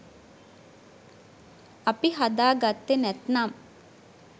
අපි හදාගත්තෙ නැත්නම්